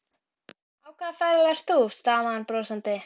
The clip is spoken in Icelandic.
Hann kíkir undir gardínuna og horfir út í húsasundið.